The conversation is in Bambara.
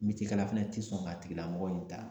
Meciyekɛla fɛnɛ ti sɔn k'a tigilamɔgɔ in ta